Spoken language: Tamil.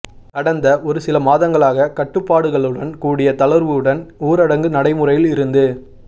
கடந்த ஒரு சில மாதங்களாக கட்டுப்பாடுகளுடன் கூடிய தளர்வுடன் ஊரடங்கு நடைமுறையில் இருந்து